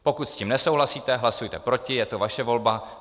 Pokud s tím nesouhlasíte, hlasujte proti, je to vaše volba.